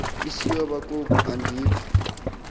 isinyhola koko andiku